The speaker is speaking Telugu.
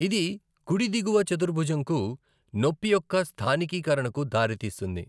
ఇది కుడి దిగువ చతుర్భుజంకు నొప్పి యొక్క స్థానికీకరణకు దారితీస్తుంది.